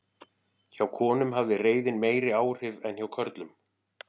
hjá konum hafði reiðin meiri áhrif en hjá körlum